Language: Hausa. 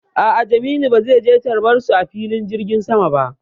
A'a, Jamilu ba zai je tarbar su a filin jirgin sama ba.